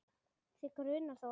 Þig grunar þó ekki?.